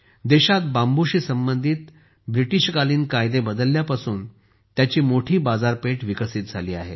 देशात बांबूशी संबंधित ब्रिटीशकालीन कायदे बदलल्यापासून त्याची मोठी बाजारपेठ विकसित झाली आहे